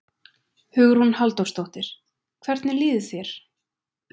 Hugrún Halldórsdóttir: Hvernig líður þér?